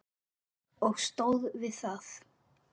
Og stóð við það.